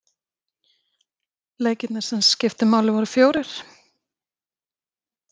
Leikirnir sem skiptu máli voru fjórir.